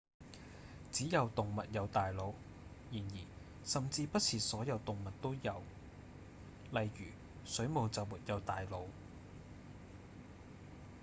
只有動物有大腦然而甚至不是所有動物都有；例如水母就沒有大腦